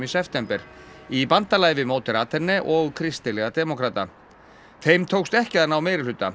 september í bandalagi við og kristilega demókrata þeim tókst ekki ná meirihluta